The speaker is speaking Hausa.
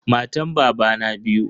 Matan babana biyu.